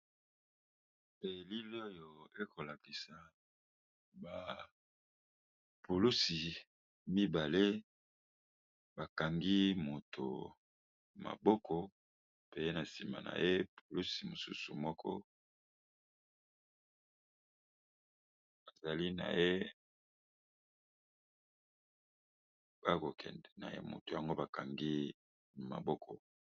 elili oyo ekolakisa bapulusi mibale bakangi moto maboko pe na nsima na ye polusi mosusu moko ezali nyakokende na ye moto yango bakangi maboko